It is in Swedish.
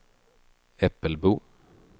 Äppelbo